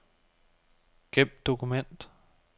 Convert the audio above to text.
Gem dokument.